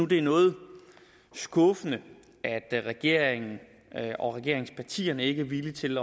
det er noget skuffende at regeringen og regeringspartierne ikke er villige til